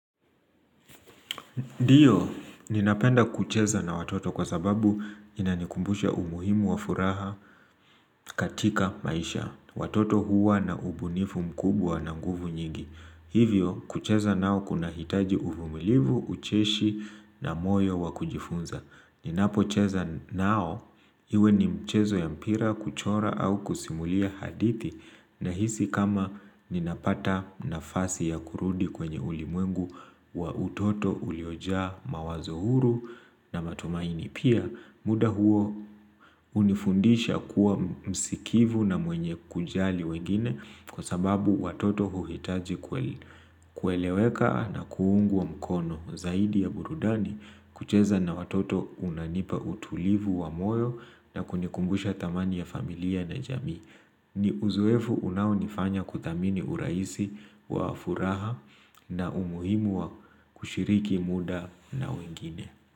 Ndiyo, ninapenda kucheza na watoto kwa sababu inanikumbusha umuhimu wa furaha katika maisha. Watoto huwa na ubunifu mkubwa na nguvu nyingi. Hivyo, kucheza nao kunahitaji uvumilivu, ucheshi na moyo wa kujifunza. Ninapocheza nao, iwe ni mchezo ya mpira, kuchora au kusimulia hadithi, nahisi kama ninapata nafasi ya kurudi kwenye ulimwengu wa utoto uliojaa mawazo huru na matumaini pia. Muda huo hunifundisha kuwa msikivu na mwenye kujali wengine kwa sababu watoto huhitaji kueleweka na kuunguwa mkono. Zaidi ya burudani, kucheza na watoto unanipa utulivu wa moyo na kunikumbusha thamani ya familia na jamii. Ni uzoefu unaonifanya kuthamini urahisi wa furaha na umuhimu wa kushiriki muda na wengine.